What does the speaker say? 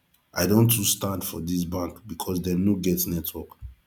i don too stand for dis bank because dem no get network